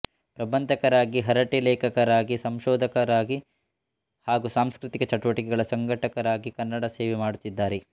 ಪ್ರಬಂಧಕಾರರಾಗಿ ಹರಟೆ ಲೇಖಕರಾಗಿ ಸಂಶೋಧಕರಾಗಿ ಹಾಗು ಸಾಂಸ್ಕೃತಿಕ ಚಟುವಟಿಕೆಗಳ ಸಂಘಟಕರಾಗಿ ಕನ್ನಡದ ಸೇವೆ ಮಾಡುತ್ತಿದ್ದಾರೆ